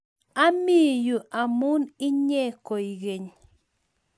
ami yu amun inye koi geny